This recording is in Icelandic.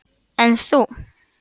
Elín: En þú?